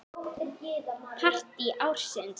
Partí ársins?